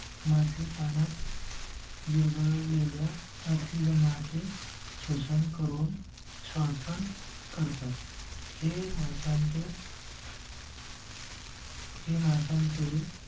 मासे पाण्यात. विरघळ लेल्या ऑक्सिजनाचे शोषण करून श्वसन करतात हे माशांचे. हे माशांचे